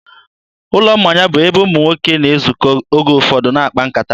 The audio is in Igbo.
ụlọ mmanya bụ ebe ụmụ nwoke na-ezukọ oge ụfọdụ na-akpa nkata.